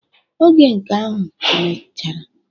Oge nke ahụ mechara.